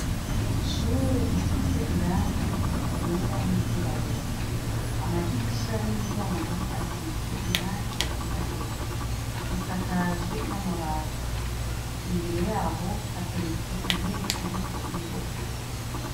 Ishure risiz' irangi ryera n' iryirabura, amadirisha n' imiryang' asiz' irangi ryirabura, isakajwe n' amabati, imbere yaho haterets' inteb'irik' indobo.